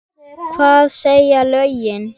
Hvað segja lögin?